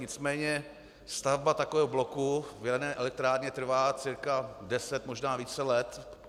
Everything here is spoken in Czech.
Nicméně stavba takového bloku v jaderné elektrárně trvá cca deset, možná více let.